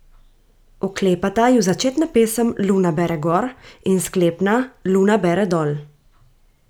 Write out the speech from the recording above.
Oklepata ju začetna pesem Luna bere gor in sklepna Luna bere dol.